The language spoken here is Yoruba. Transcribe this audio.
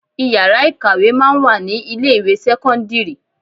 Ìyàrá ìkàwé máa ń wà ní ilé ìwé sẹ́kọ́ńdírì.